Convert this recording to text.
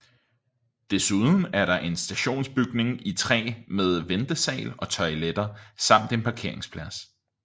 Desuden er der en stationsbygning i træ med ventesal og toiletter samt en parkeringsplads